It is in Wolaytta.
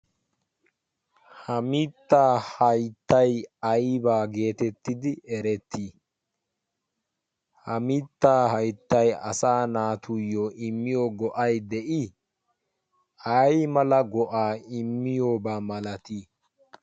Ha miittaa hayttay aybaa geetettidi erettii? Ha mittaa hayttay asa naatuyyo immiyo go'ay de'i? Aymala go'aa immiyoobaa malatii?